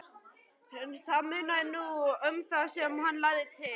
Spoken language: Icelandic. Það munaði nú um það sem hann lagði til.